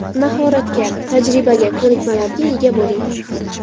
Mahoratga, tajribaga, ko‘nikmalarga ega bo‘ling.